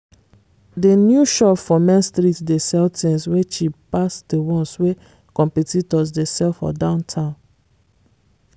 di new shop for main street dey sell things wey cheap pass di ones wey competitors dey sell for downtown.